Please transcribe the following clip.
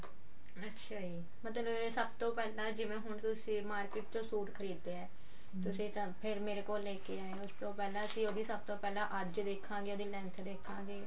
ਅੱਛਾ ਜੀ ਮਤਲਬ ਸਭ ਤੋਂ ਪਹਿਲਾਂ ਹੁਣ ਜਿਵੇਂ ਤੁਸੀਂ market ਚੋਂ ਸੂਟ ਖਰੀਦਦੇ ਆਂ ਤੁਸੀਂ ਫੇਰ ਮੇਰੇ ਕੋਲ ਲੈਕੇ ਆਏ ਓ ਉਸ ਤੋਂ ਪਹਿਲਾਂ ਅਸੀਂ ਉਹਦੀ ਸਭ ਤੋਂ ਪਹਿਲਾਂ ਅੱਜ ਦੇਖਾਂਗੇ ਉਹਦੀ length ਦੇਖਾਂਗੇ